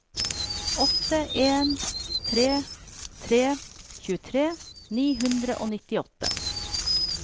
åtte en tre tre tjuetre ni hundre og nittiåtte